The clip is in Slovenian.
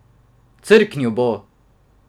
Crknil bo!